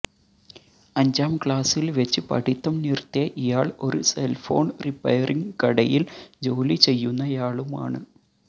അഞ്ചാംക്ലാസ്സില് വെച്ച് പഠിത്തം നിര്ത്തിയ ഇയാള് ഒരു സെല്ഫോണ് റിപ്പയറിംഗ് കടയില് ജോലി ചെയ്യുന്നയാളുമാണ്